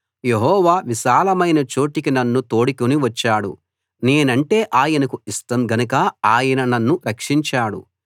యెహోవా విశాలమైన చోటికి నన్ను తోడుకుని వచ్చాడు నేనంటే ఆయనకు ఇష్టం గనక ఆయన నన్ను రక్షించాడు